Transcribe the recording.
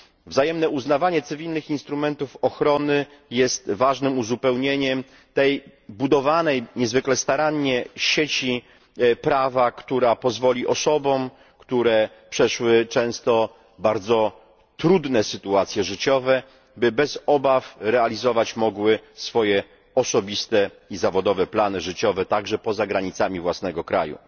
Wzajemne uznawanie cywilnych instrumentów ochrony jest ważnym uzupełnieniem tej niezwykle starannie budowanej sieci prawa, która pozwoli osobom, które przeszły często bardzo trudne sytuacje życiowe, bez obaw realizować osobiste i zawodowe plany życiowe także poza granicami własnego kraju.